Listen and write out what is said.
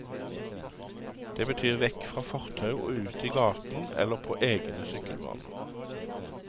Det betyr vekk fra fortau og ut i gaten eller på egne sykkelbaner.